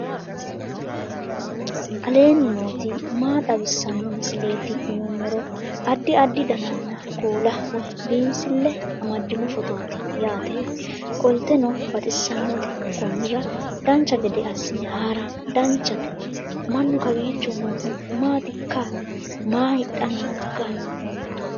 aleenni nooti maa xawisanno misileeti yinummoro addi addi dananna kuula woy biinsille amaddino footooti yaate qoltenno baxissannote konnira dancha gede assine haara danchate mannu kowiicho noohu maatikka maa hidhanni nooikka